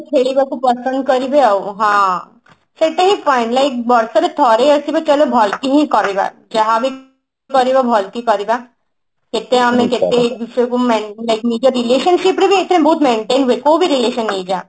ଖେଳିବାକୁ ପସନ୍ଦ କରିବେ ଆଉ ହଁ ସେଟା ହିଁ point like ବର୍ଷରେ ଥରେ ଆସିବ ଚାଲ ଭଲ କି ହିଁ କରିବା ଯାହାବି କରିବା ଭଲ କି କରିବା ସେତେବେଳେ ଆମେ ସେତେ ବିଷୟକୁ ନିଜ relationship ରେଏଟା ବହୁତ maintain ଦେଖୁ କି relation ହେଇଯାଏ